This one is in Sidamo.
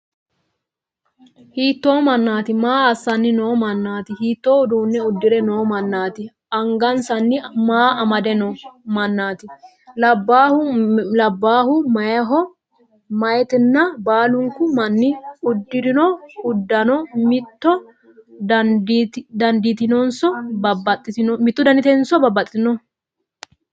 Hiittoo mannaati? Maa assannni noo mannaati? Hiittoo uduunne uddire noo mannaati? Angansanni maa amade noo mannaati? Labbaayhu me"eho? Meeyaatina? Baalunku manni uddirino uddano mitto danaatinso baxxitinno?